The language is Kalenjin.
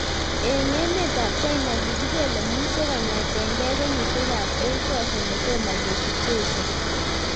Eng emet ap China kikipele muswek kongetkei kenyishek ab 8000 kotomo kesich cheiso